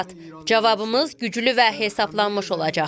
Cavabımız güclü və hesablanmış olacaq.